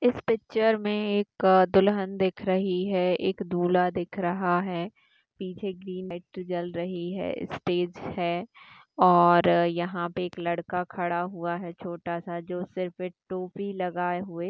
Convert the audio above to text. इस पिक्चर में एक दुल्हन दिख रही है इक दूल्हा दिख रहा है पीछे की मेंट्रटी जल रही है स्टेज है और यहाँ पे एक लड़का खड़ा हुआ है छोटा सा जो सिर्फ एक टोपी लगाये हुए--